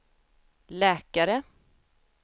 läkare